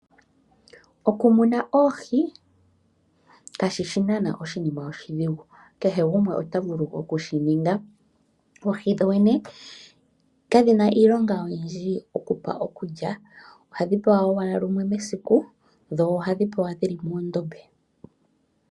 Okumuna oohi kashishi Oshiima oshidhigu kehe gumwe otovulu okushininga. oohi dhoyene kadhina iilonga oyindji okupa okulya ohadhipewa owala lumwe mesiku dho ohadhi pelwa mokandombe